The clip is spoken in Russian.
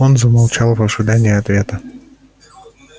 он замолчал в ожидании ответа